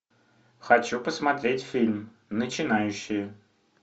хочу посмотреть фильм начинающие